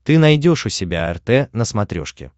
ты найдешь у себя рт на смотрешке